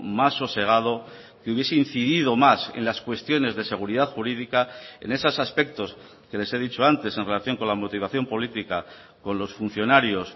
más sosegado que hubiese incidido más en las cuestiones de seguridad jurídica en esos aspectos que les he dicho antes en relación con la motivación política con los funcionarios